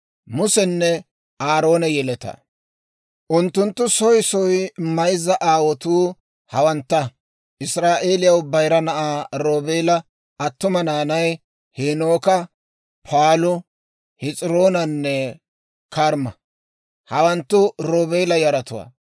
Unttunttu soy soy mayza aawotuu hawantta. Israa'eeliyaw bayira na'aa Roobeela attuma naanay, Heenooka, Paalu, Hes'iroonanne Karmma; hawanttu Roobeela yaratuwaa.